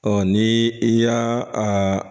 Ɔ ni i y'a a